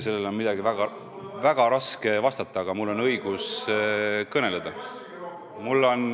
Sellele ongi väga raske midagi vastata, aga mul on õigus kõneleda.